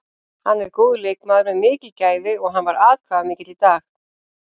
Hann er góður leikmaður með mikil gæði og hann var atkvæðamikill í dag.